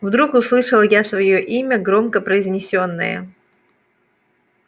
вдруг услышал я своё имя громко произнесённое